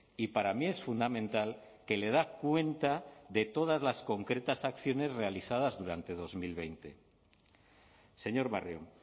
y para mí es fundamental que le da cuenta de todas las concretas acciones realizadas durante dos mil veinte señor barrio